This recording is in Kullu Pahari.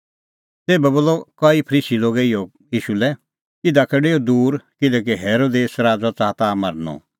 तेभै बोलअ कई फरीसी लोगे इहअ ईशू लै इधा का डेऊ दूर किल्हैकि हेरोदेस च़ाहा ताह मारनअ